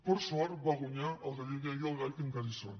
per sort van guanyar el galliner i el gall que encara hi són